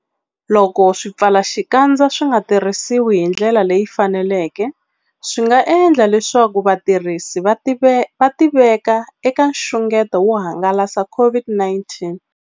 Loko swipfalaxikandza swi nga tirhisiwi hi ndlela leyi faneleke, swi nga endla leswaku vatirhisi va tiveka eka nxungeto wo hangalasa COVID-19.